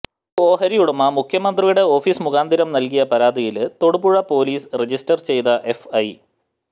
ഒരു ഓഹരി ഉടമ മുഖ്യമന്ത്രിയുടെ ഓഫീസ് മുഖാന്തിരം നല്കിയ പരാതിയില് തൊടുപുഴ പൊലീസ് രജിസ്റ്റര് ചെയ്ത് എഫ്ഐ